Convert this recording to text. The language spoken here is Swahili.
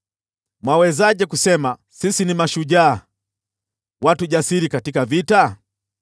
“Mwawezaje kusema, ‘Sisi ni mashujaa, watu jasiri katika vita’?